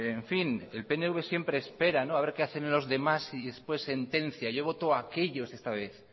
en fin el pnv siempre espera no haber que hacen los demás y después sentencia yo voto aquellos esta vez